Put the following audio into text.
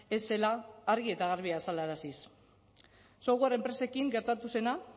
ez zela argi eta garbi azalaraziz software enpresekin gertatu zena